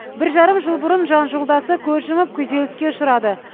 бір жарым жыл бұрын жан жолдасы көз жұмып күйзеліске ұшырады